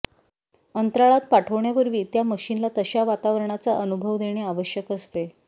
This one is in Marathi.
अंतराळात पाठवण्यापूर्वी त्या मशिनला तशा वातावरणाचा अनुभव देणे आवश्यक असते